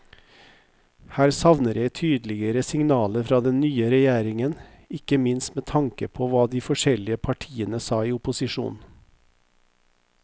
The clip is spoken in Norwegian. Her savner jeg tydeligere signaler fra den nye regjeringen, ikke minst med tanke på hva de forskjellige partiene sa i opposisjon.